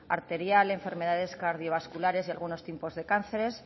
arterial enfermedades cardiovasculares y algunos tipos de cánceres